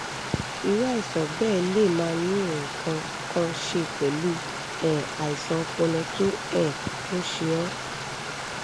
irú àìsàn bẹ́ẹ̀ lè máà ní nǹkan kan ṣe pẹ̀lú um àìsàn ọpọlọ tó um ń ṣe ọ́